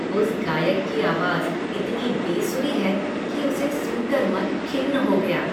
उस गायक की आवाज़ इतनी बेसुरी है कि उसे सुन कर मन खिन्न हो गया।